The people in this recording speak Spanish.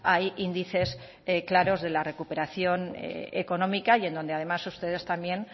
hay índices claros de la recuperación económica y en donde además ustedes también